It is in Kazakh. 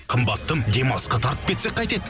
қымбаттым демалысқа тартып кетсек қайтеді